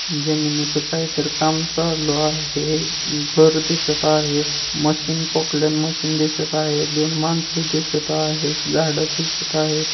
जमिनीच काहीतर काम चालू आहे एक घर दिसत आहे मशीन मशीन दिसत आहे दोन माणस दिसत आहेत झाड दिसत आहेत.